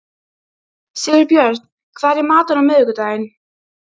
Sigurbjörn, hvað er í matinn á miðvikudaginn?